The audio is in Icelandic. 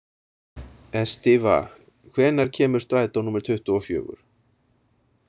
Estiva, hvenær kemur strætó númer tuttugu og fjögur?